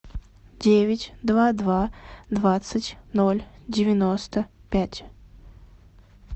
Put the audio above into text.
девять два два двадцать ноль девяносто пять